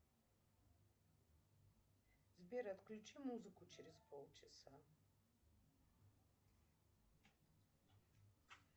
сбер отключи музыку через пол часа